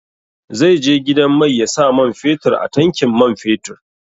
Zai je gidan mai ya sa man fetur a tankin man fetur.